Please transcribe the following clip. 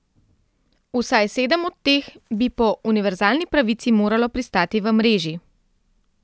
Vsaj sedem od teh bi po univerzalni pravici moralo pristati v mreži.